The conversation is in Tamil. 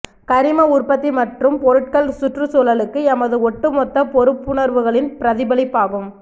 கரிம உற்பத்தி மற்றும் பொருட்கள் சுற்றுச்சூழலுக்கு எமது ஒட்டுமொத்த பொறுப்புணர்வுகளின் பிரதிபலிப்பாகும்